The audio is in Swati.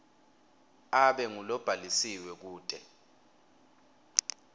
abe ngulobhalisiwe kute